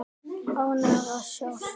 Ánægðar að sjást.